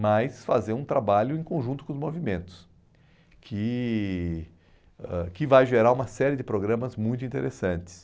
mas fazer um trabalho em conjunto com os movimentos, que ãh que vai gerar uma série de programas muito interessantes.